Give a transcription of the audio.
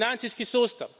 Pa financijski sustav.